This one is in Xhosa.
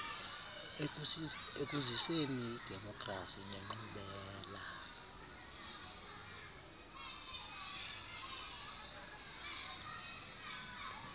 ekuziseni idemokhrasi nenkqubela